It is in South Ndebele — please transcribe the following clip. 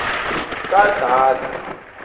kadladla